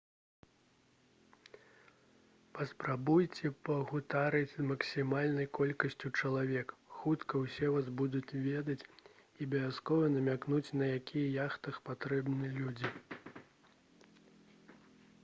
паспрабуйце пагутарыць з максімальнай колькасцю чалавек хутка усе вас будуць ведаць і абавязкова намякнуць на якіх яхтах патрэбны людзі